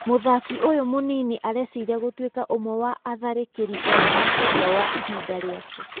Mũthaki ũyũ mũnini areciria gũtuĩka ũmwe wa atharĩkĩri ega makĩria wa ihinda rĩake.